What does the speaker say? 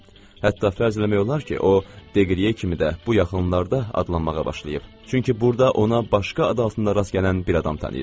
Hətta fərz eləmək olar ki, o Deqriye kimi də bu yaxınlarda adlanmağa başlayıb, çünki burda ona başqa ad altında rast gələn bir adam tanıyıram.